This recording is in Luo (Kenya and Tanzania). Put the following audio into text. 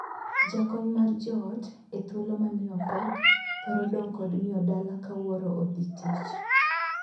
Jakony mar joot e thuolo ma miyo pek thoro dong' kod miyo dala ka wuoro odhi tich.